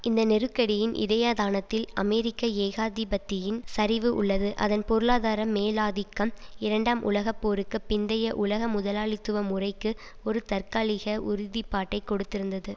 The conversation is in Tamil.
இந்த நெருக்கடியின் இதயத்தானத்தில் அமெரிக்க ஏகாதிபத்தியின் சரிவு உள்ளது அதன் பொருளாதார மேலாதிக்கம் இரண்டாம் உலக போருக்கு பிந்தய உலக முதலாளித்துவ முறைக்கு ஒரு தற்காலிக உறுதி பாட்டை கொடுத்திருந்தது